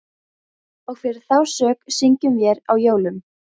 Og fyrir þá sök syngjum vér á jólum